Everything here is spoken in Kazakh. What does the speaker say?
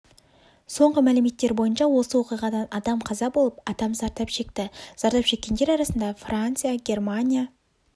соңғы мәліметтер бойынша осы оқиғадан адам қаза болып адам зардап шекті зардап шеккендер арасында франция германия